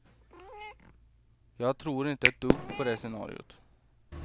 Jag tror inte ett dugg på det scenariot.